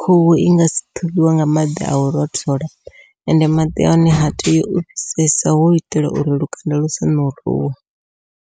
khuhu i nga si ṱhuvhiwe nga maḓi au rothola ende maḓi a hone ha tei u fhisesa hu u itela uri lukanda lusa ṋuruwe.